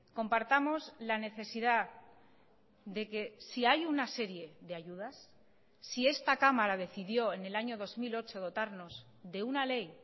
compartamos la necesidad de que si hay una serie de ayudas si esta cámara decidió en el año dos mil ocho dotarnos de una ley